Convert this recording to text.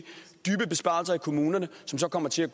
kommunerne som så kommer til at